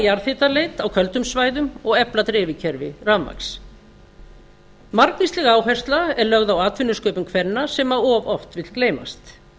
jarðhitaleit á köldum svæðum og efla dreifikerfi rafmagns marvísleg áhersla er lögð á atvinnusköpun kvenna sem of oft vill gleymast